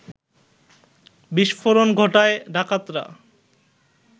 বিস্ফোরণ ঘটায় ডাকাতরা